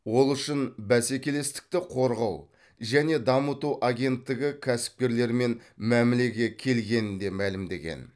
ол үшін бәсекелестікті қорғау және дамыту агенттігі кәсіпкерлермен мәмілеге келгенін де мәлімдеген